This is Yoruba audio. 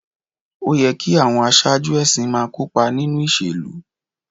Ó yẹ kí àwọn aṣáájú ẹ̀sìn máa kópa nínú ìṣèlú